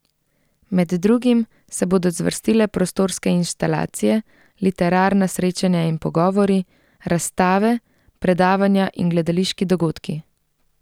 Med drugim se bodo zvrstile prostorske inštalacije, literarna srečanja in pogovori, razstave, predavanja in gledališki dogodki.